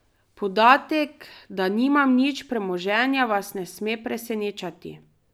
Podatek, da nimam nič premoženja, vas ne sme presenečati.